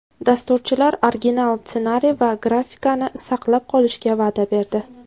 Dasturchilar original ssenariy va grafikani saqlab qolishga va’da berdi.